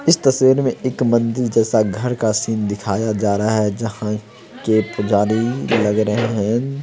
इस तस्वीर मे एक मंदिर जैसा घर का सीन दिखाया जा रहा है जहां के पुजारी लग रहे हैं --